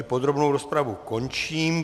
I podrobnou rozpravu končím.